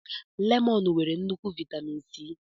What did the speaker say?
Lemọnụ nwere nnukwu viatamịn C.